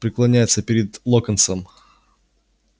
преклоняется перед локонсом